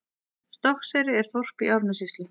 Stokkseyri er þorp í Árnessýslu.